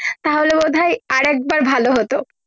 তা হলে বোধ হয় আরেক বার ভালো হত